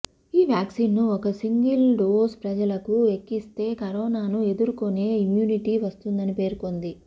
ఈ వ్యాక్సిన్ ను ఒక్క సింగిల్ డోస్ ప్రజలకు ఎక్కిస్తే కరోనాను ఎదుర్కొనే ఇమ్యూనిటీ వస్తుందని పేర్కొంది